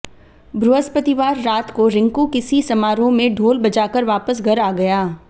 बृहस्पतिवार रात को रिंकू किसी समारोह में ढोल बजाकर वापस घर आ गया